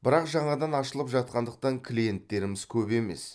бірақ жаңадан ашылып жатқандықтан клиенттеріміз көп емес